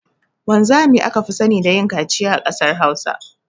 Wanzami aka fi sani da yin kaciya a kasar hausa.